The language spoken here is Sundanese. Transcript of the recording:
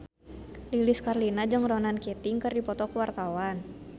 Lilis Karlina jeung Ronan Keating keur dipoto ku wartawan